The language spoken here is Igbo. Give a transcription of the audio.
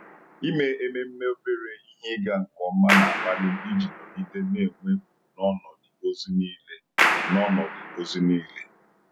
Ịme ememme obere ihe ịga nke ọma na-akpali m iji nọgide na-enwe ugwu n’ọnọdụ ozi niile. n’ọnọdụ ozi niile.